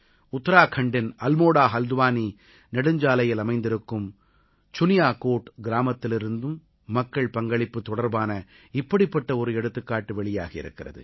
உத்தராக்கண்டின் அல்மோடாஹல்த்வானீ நெடுஞ்சாலையில் அமைந்திருக்கும் சுனியாகோட் கிராமத்திலிருந்தும் மக்கள் பங்களிப்பு தொடர்பான இப்படிப்பட்ட ஒரு எடுத்துக்காட்டு வெளியாகி இருக்கிறது